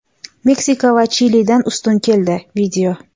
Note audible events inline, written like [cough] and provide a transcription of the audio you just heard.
Meksika esa Chilidan ustun keldi. [video]